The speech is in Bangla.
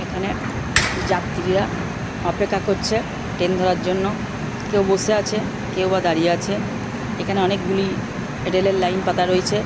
এখানে যাত্রীরা্ অপেক্ষা করছে ট্রেন ধরার জন্য কেউ বসে আছে কেউবা দাঁড়িয়ে আছে এখানে অনেকগুলি রেল এর লাইন পাতা রয়েছে।